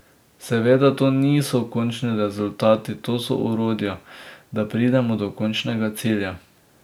Seveda to niso končni rezultati, to so orodja, da pridemo do končnega cilja.